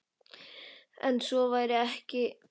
En svo væri ekki.